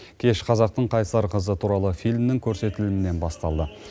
кеш қазақтың қайсар қызы туралы фильмнің көрсетілімінен басталды